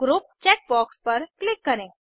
group check box पर click करें